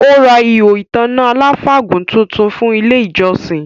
Ó ra “ihò ìtanná aláfàgùn” tuntun fún ile ìjọsìn